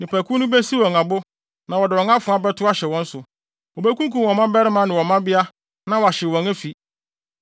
Nnipakuw no besiw wɔn abo na wɔde wɔn afoa bɛtow ahyɛ wɔn so. Wobekunkum wɔn mmabarima ne wɔn mmabea na wɔahyew wɔn afi.